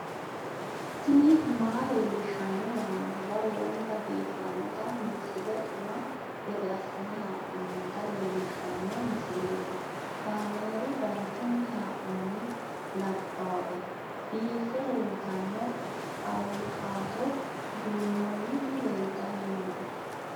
tini maa leelishshanno yaannohura lowonta biiffanota misile xuma gede assine haa'noonnita leellishshanno misileeti kaameru danchunni haa'noonni lamboe biiffe leeeltanno awukaato duunnoonniti leeltanni nooe